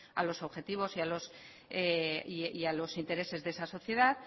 a los objetivos y a los intereses de esa sociedad